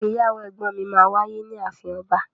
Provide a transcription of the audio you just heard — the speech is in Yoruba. Ìgbéyàwó ẹgbọn mi ma wáyé ni àfín ọba.